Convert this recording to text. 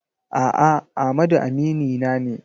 A'a, Amadu aminina ne.